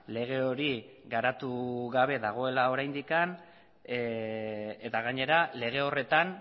lege hori garatu gabe dagoela oraindik eta gainera lege horretan